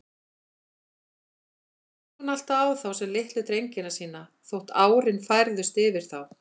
Annars leit hún alltaf á þá sem litlu drengina sína, þótt árin færðust yfir þá.